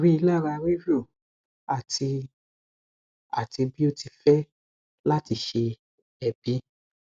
rilara ríru ati ati bi o ti fẹ lati se eebi